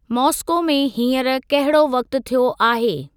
Moscow में हींअर कहिड़ो वक़्ति थियो आहे।